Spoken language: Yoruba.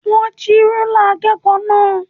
Wọn jí rúlà akẹ́kọ̀ọ́ náà.